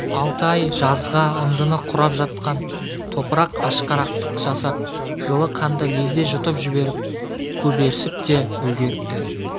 алты ай жазға ындыны құрып жатқан топырақ ашқарақтық жасап жылы қанды лезде жұтып жіберіп көберсіп те үлгеріпті